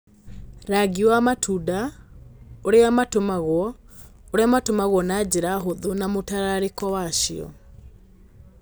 Rangi wa matunda, ũrĩa matumagwo, ũrĩa matumagwo na njĩra hũthũ na mũtararĩko wacio